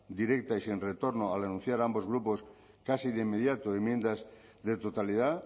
directa y sin retorno al anunciar ambos grupos casi de inmediato enmiendas de totalidad